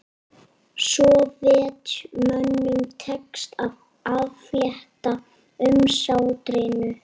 Sovétmönnum tekst að aflétta umsátrinu